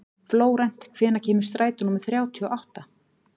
Flórent, hvenær kemur strætó númer þrjátíu og átta?